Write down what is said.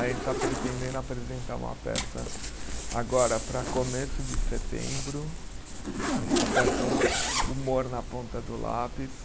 A gente está pretendendo apresentar uma peça agora para começo de setembro, a peça o Humor na Ponta do Lápis.